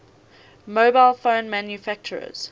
mobile phone manufacturers